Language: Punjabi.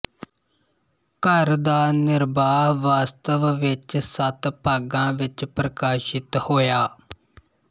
ਘਰ ਦਾ ਨਿਰਬਾਹ ਵਾਸਤਵ ਵਿੱਚ ਸੱਤ ਭਾਗਾਂ ਵਿੱਚ ਪ੍ਰਕਾਸ਼ਿਤ ਹੋਇਆ